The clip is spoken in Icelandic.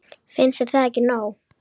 Finnst þér það ekki nóg?